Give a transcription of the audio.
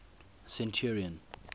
centurion